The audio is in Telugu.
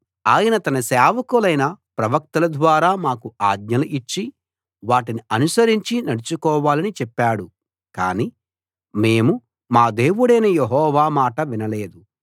ఆయన తన సేవకులైన ప్రవక్తల ద్వారా మాకు ఆజ్ఞలు ఇచ్చి వాటిని అనుసరించి నడుచుకోవాలని చెప్పాడు కానీ మేము మా దేవుడైన యెహోవా మాట వినలేదు